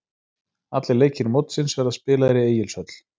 Allir leikir mótsins verða spilaðir í Egilshöll.